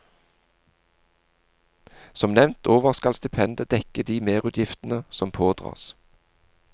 Som nevnt over skal stipendet dekke de merutgiftene som pådras.